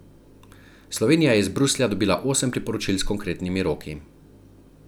Slovenija je iz Bruslja dobila osem priporočil s konkretnimi roki.